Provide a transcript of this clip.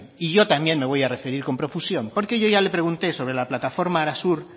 y yo también me voy a referir con profusión porque yo ya le pregunté por la plataforma arasur